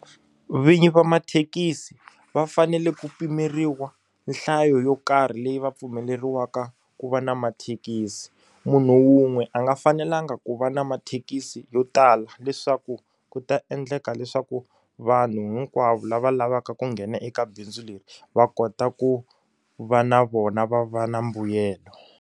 Vinyi va mathekisi va fanele ku pimeriwa nhlayo yo karhi leyi va pfumeleriwaka ku va na mathekisi munhu wun'we a nga fanelangi ku va na mathekisi yo tala leswaku ku ta endleka leswaku vanhu hinkwavo lava lavaka ku nghena eka bindzu leri va kota ku va na vona va va na mbuyelo.